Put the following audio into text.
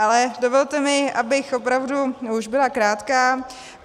Ale dovolte mi, abych opravdu už byla krátká.